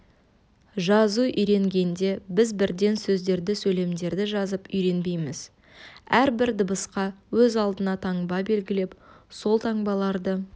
жазу үйренгенде біз бірден сөздерді сөйлемдерді жазып үйренбейміз әрбір дыбысқа өз алдына таңба белгілеп сол таңбаларды